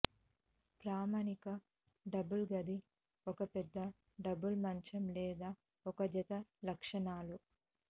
ప్రామాణిక డబుల్ గది ఒక పెద్ద డబుల్ మంచం లేదా ఒక జత లక్షణాలు